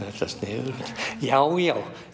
þetta sniðugt já já